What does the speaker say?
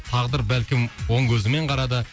тағдыр бәлкім оң көзімен қарады